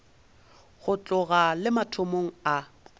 go tloga le mathomong a